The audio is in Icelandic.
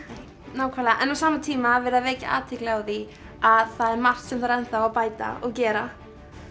nákvæmlega en á sama tíma er verið að vekja athygli á því að það er enn margt sem þarf að bæta og gera